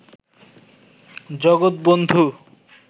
জগৎ বন্ধু